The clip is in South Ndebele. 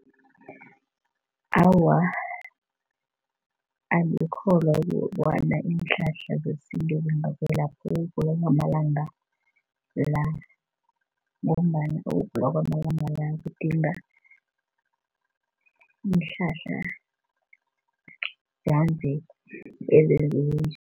Awa, angikholwa kobana iinhlahla zesintu zingakwelapha ukugula kwamalanga la ngombana ukugula kwamalanga la kudinga iinhlahla zanje, ezenziwe nje.